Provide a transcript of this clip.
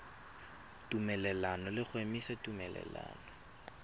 tumelelano le go emisa tumelelano